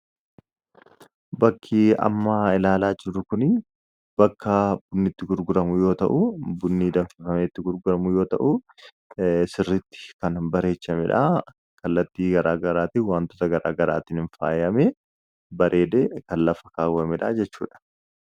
bakki ammaa ilaalaa jirru kunii bakka bunnitti gurguramuu yoo ta'u bunnii danfafametti gurguramuu yoo ta'u sirritti kan bareechamidhaa kallattii garaagaraati wantoota garaagaraatiin hin faayame bareede kan lafa kaawwa midhaa jechuudha